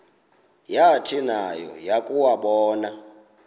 yathi nayo yakuwabona